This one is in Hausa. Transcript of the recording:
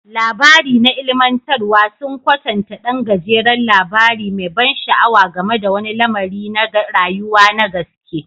Labari na ilimantarwa sun kwatanta ɗan gajeren labari mai ban sha'awa game da wani lamari na rayuwa na gaske.